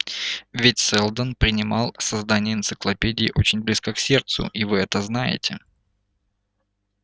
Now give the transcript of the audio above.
ведь сэлдон принимал создание энциклопедии очень близко к сердцу и вы это знаете